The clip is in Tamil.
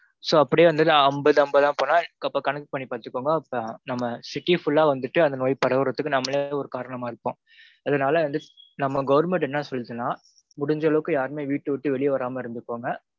so அப்படியே வந்து அம்பது அம்பதா போனா அப்போ connect பண்ணி பாத்துக்கோங்க. நம்ம city full ஆ வந்துட்டு நோய் பரவறதுக்கு நாம்மளே ஒரு காரணமா இருப்போம். அதனால் வந்து நம்ம government என்ன சொல்லுதுனா முடிஞ்ச அளவுக்கு யாரும் வீட்டுல இருந்து வெளிய வராம இருந்துக்கோங்க